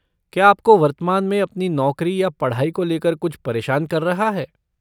क्या आपको वर्तमान में अपनी नौकरी या पढ़ाई को लेकर कुछ परेशान कर रहा है?